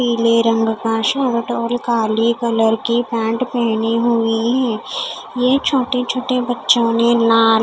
पीले रंग का शर्ट और काली कलर की पैन्ट पहनी हुई है ये छोटे छोटे बच्चो ने लाल--